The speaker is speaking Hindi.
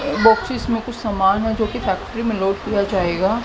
बॉक्सेस में कुछ सामान है जोकि फैक्ट्री में लोड किया जाएगा।